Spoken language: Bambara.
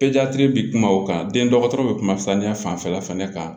bi kuma o kan den dɔgɔtɔrɔ bɛ kuma saniya fanfɛla fɛnɛ kan